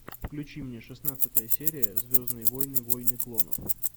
включи мне шестнадцатая серия звездные войны войны клонов